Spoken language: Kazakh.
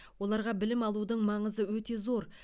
оларға білім алудың маңызы өте зор